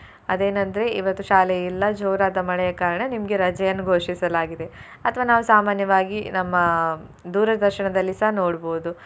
ಅದೇನಂದ್ರೆ ಇವತ್ತು ಶಾಲೆ ಇಲ್ಲ ಜೋರಾದ ಮಳೆಯ ಕಾರಣ ನಿಮ್ಗೆ ರಜೆಯನ್ನು ಘೋಷಿಸಲಾಗಿದೆ ಅಥ್ವಾ ನಾವು ಸಾಮಾನ್ಯವಾಗಿ ನಮ್ಮ ದೂರದರ್ಶನದಲ್ಲಿಸ ನೋಡ್ಬೋದು.